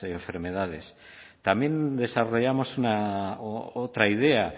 enfermedades también desarrollamos otra idea